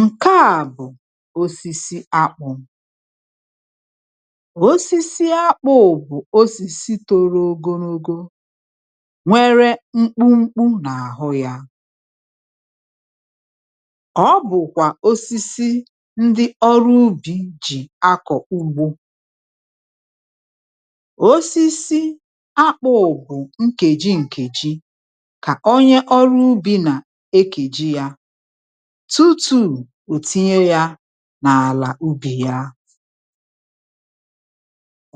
Ǹkeà bụ̀ osisi akpụ̀, osisi akpụ̇ bù osisi tòrò ogologo nwere mkpụmkpụ n’àhụ ya, ọ bụ̀kwà osisi ndị ọrụ ubì jì akọ̀ ugbȯ, osisi akpụ̇ bù nkèji nkèji kà onye ọrụ ubì nà ekèji ya tutù òtinye ya n’àlà ubì ya,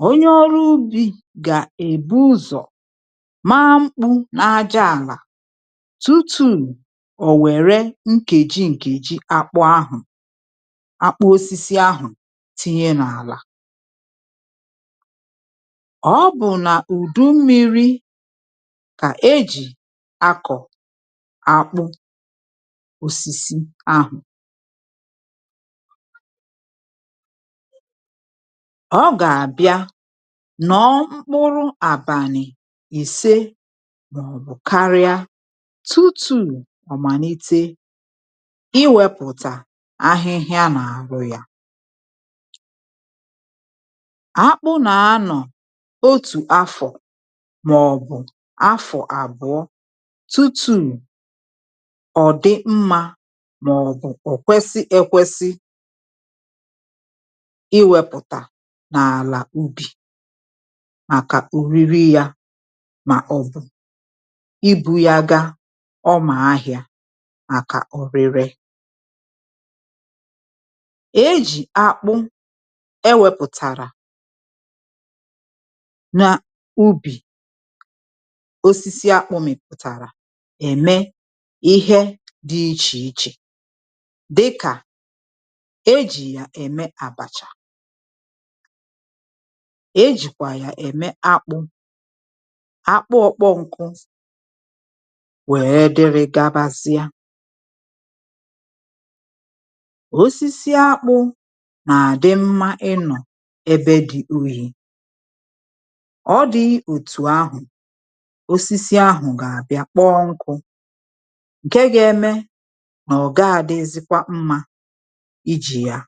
onye ọrụ ubì gà-èbu ụzọ̀ maa mkpụ n’ájaàlà tutù ò wère nkèji nkèji akpụ ahụ̀, akpụ osisi ahụ̀ tinye n’àlà, obu na udu mmiri kà éjị akọ akpù osisi ahụ ọ gà-àbịa nnọọ mkpụrụ àbànị̀ ìse màọbụ̀ karịa tutu omalite iwepụ̀tà ahịhịa n’àrụ ya, akpù na-anọ otú afọ màọ̀bụ̀ afọ abụọ tutu odi mma màọ̀bụ̀ ò kwesi ekwesi iwepụ̀tà n’àlà ubì màkà u̇riri yȧ mà ọ̀bụ̀ ibu̇ ya gaa ọmà ahị̇ȧ màkà ọ̀rịre, èjì akpụ e wepụ̀tàrà na ubì osisi akpụ̇ mìpụ̀tàrà ème ihe dị ichè ichè dika ejì yà ème àbàchà, ejìkwà yà ème akpụ̇, akpụọ kpọọ nkụ wee dịrị gabasịa, osisi akpụ nà-àdị mmȧ ịnọ̀ ebe dị uhì, ọ dị otù ahụ̀ osisi ahụ̀ gà-àbịa kpọọ nkụ nke ga eme ná oga adịzịkwa mma ijì yà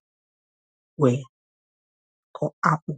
wèe kọ̀ akpụ̇.